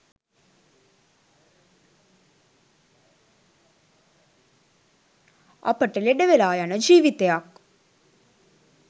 අපට ලෙඩ වෙලා යන ජීවිතයක්